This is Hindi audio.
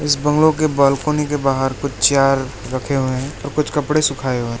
बंगलो के बालकनी के बाहर कुछ चार रखे हुए हैं तो कुछ कपड़े सुखाए हुए--